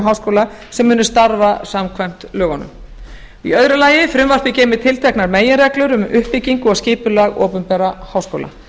háskóla sem munu starfa samkvæmt lögunum annars frumvarpið geymir tilteknar meginreglur um uppbyggingu og skipulag opinberra háskóla